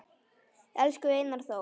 Elsku Einar Þór